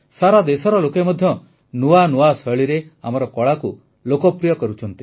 ସାରା ଦେଶର ଲୋକେ ମଧ୍ୟ ନୂଆ ନୂଆ ଶୈଳୀରେ ଆମର କଳାକୁ ଲୋକପ୍ରିୟ କରୁଛନ୍ତି